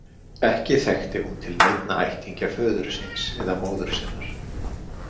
Ekki þekkti hún til neinna ættingja föður síns eða móður sinnar.